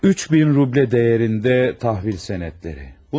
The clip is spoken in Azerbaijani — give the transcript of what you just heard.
3000 ruble dəyərində təhvil sənədləri.